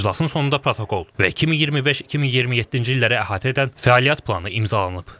İclasın sonunda protokol və 2025-2027-ci illəri əhatə edən fəaliyyət planı imzalanıb.